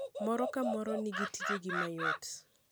Moro ka moro nigitije mayot.